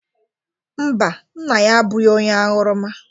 Mba, nna ya abụghị onye aṅụrụma.